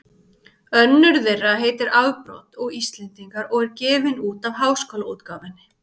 Önnur þeirra heitir Afbrot og Íslendingar og er gefin út af Háskólaútgáfunni.